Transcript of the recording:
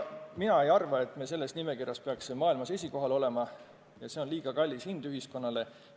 Mina ei arva, et me selles nimekirjas peaksime maailmas esikohal olema, see oleks liiga kallis hind ühiskonnale.